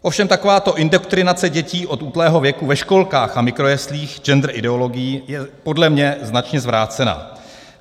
Ovšem takováto indoktrinace dětí od útlého věku ve školkách a mikrojeslích gender ideologií je podle mne značně zvrácená.